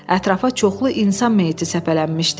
Ətrafa çoxlu insan meiti səpələnmişdi.